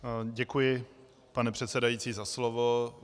Děkuji, pane předsedající, za slovo.